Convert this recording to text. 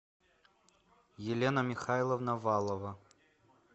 елена михайловна валова